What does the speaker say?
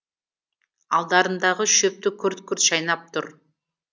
алдарындағы шөпті күрт күрт шайнап тұр